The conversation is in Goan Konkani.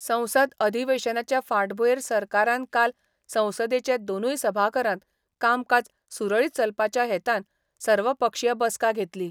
संसद अधिवेशनाचे फाटभुंयेर सरकारान काल संसदेचें दोनूय सभाघरांत कामकाज सुरळीत चलपाच्या हेतान सर्वपक्षीय बसका घेतली.